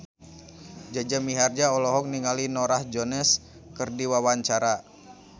Jaja Mihardja olohok ningali Norah Jones keur diwawancara